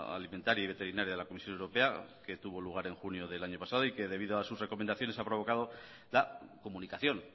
alimentaria y veterinaria de la comisión europea que tuvo lugar en junio del año pasado y que debido a sus recomendaciones ha provocado la comunicación